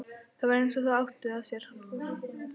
Það var eins og það átti að sér.